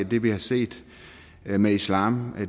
det vi har set med islam